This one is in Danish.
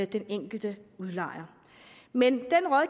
den enkelte udlejer men